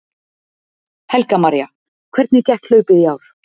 Helga María: Hvernig gekk hlaupið í ár?